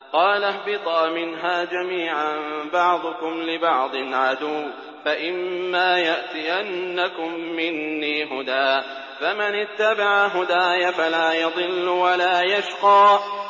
قَالَ اهْبِطَا مِنْهَا جَمِيعًا ۖ بَعْضُكُمْ لِبَعْضٍ عَدُوٌّ ۖ فَإِمَّا يَأْتِيَنَّكُم مِّنِّي هُدًى فَمَنِ اتَّبَعَ هُدَايَ فَلَا يَضِلُّ وَلَا يَشْقَىٰ